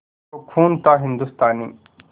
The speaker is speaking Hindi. वो खून था हिंदुस्तानी